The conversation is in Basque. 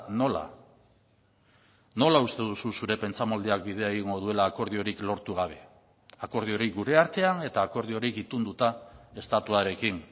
nola nola uste duzu zure pentsamoldeak bidea egingo duela akordiorik lortu gabe akordiorik gure artean eta akordiorik itunduta estatuarekin